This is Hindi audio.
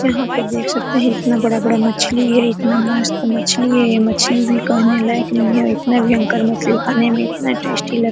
यहां पे देख सकते हैं इतना बड़ा-बड़ा मछली है इतना मस्त मछली है ये मछली भी कहने लायक नहीं है इतना भयंकर मछली खाने में इतना टेस्टी लग --